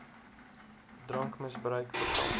drankmis bruik bekamp